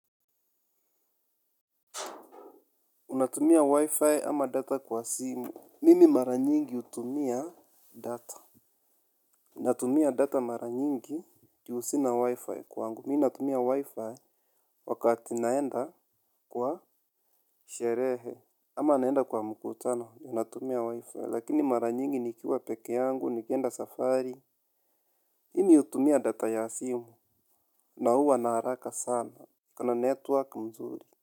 Unatumia wifi ama data kwa simu. Mimi mara nyingi hutumia data. Unatumia data mara nyingi juu sina wifi kwangu. Mimi natumia wifi wakati naenda kwa sherehe. Ama naenda kwa mkutano natumia wifi. Lakini mara nyingi nikiwa peke yangu, nikienda safari. Mimi hutumia data ya simu. Na huwa na haraka sana ikona network mzuri.